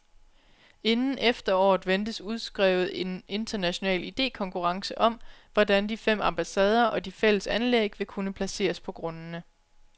Inden efteråret ventes udskrevet en international idekonkurrence om, hvordan de fem ambassader og de fælles anlæg vil kunne placeres på grundene.